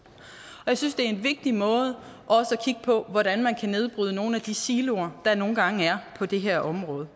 og jeg synes også det er en vigtig måde at kigge på hvordan man kan nedbryde nogle af de siloer der nogle gange er på det her område